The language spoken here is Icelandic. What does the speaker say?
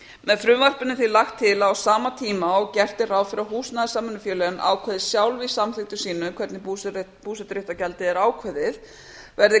með frumvarpinu er því lagt til að á sama tíma og gert er ráð fyrir að húsnæðissamvinnufélögin ákveði sjálf í samþykktum sínum hvernig búseturéttargjaldið er ákveðið verði